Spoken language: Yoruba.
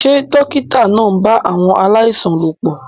Ṣé dókítà náà ń bá àwọn aláìsàn lòpọ̀?